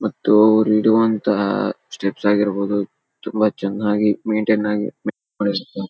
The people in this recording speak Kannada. ಮತ್ತು ರೇಡಿಯೋ ಅಂತ ಟಿಪ್ಸ್ ಆಗಿರಬಹುದು ತುಂಬಾ ಚೆನ್ನಾಗಿ ಮೈನ್ಟೈನ್ ಆಗಿ ಮಾಡಿರ್ತಾರೆ .